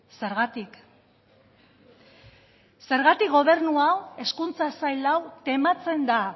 zergatik zergatik gobernu hau hezkuntza sail hau tematzen da